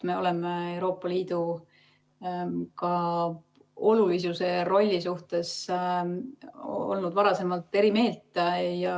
Me oleme ka Euroopa Liidu olulisuse ja rolli suhtes olnud varem eri meelt.